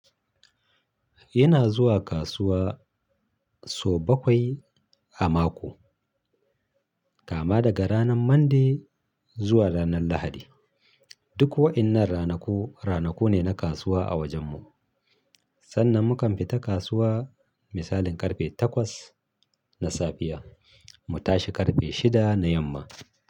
Ina zuwa kasuwa sau bakwai a mako. Kama daga ranan Monday zuwa ranan Lahadi. Duk wa'innan ranaku, ranaku ne na kasuwa a wajen mu. Sannan mu kan fita kasuwa misalin karfe takwas na safiya mu tashi karfe shida na yamma.